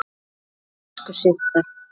Elsku Systa.